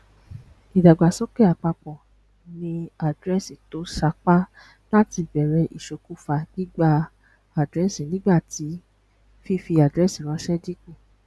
ìdàgbàsókè àpapọ ni àdírẹẹsì to sápá láti ìbèrè isokufa gbígba àdírẹẹsìnígbà tí fífi àdírẹẹsì ranṣẹ dínkù